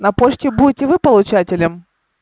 на почте будете вы получателем